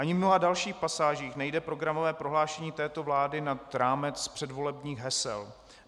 Ani v mnoha dalších pasážích nejde programové prohlášení této vlády nad rámec předvolebních hesel.